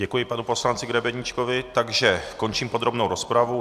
Děkuji panu poslanci Grebeníčkovi, takže končím podrobnou rozpravu.